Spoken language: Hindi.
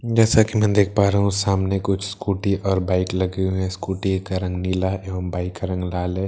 जैसा कि मैं देख पा रहा हूँ सामने कुछ स्‍कूटी और बाइक लगे हुए हैं स्‍कूटी का रंग नीला एवं बाइक का रंग लाल है।